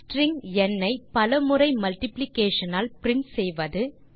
string ந் ஐ பல முறை மல்டிப்ளிகேஷன் ஆல் பிரின்ட் செய்வது